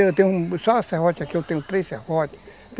Eu tenho só uma serrote aqui, eu tenho três serrotes.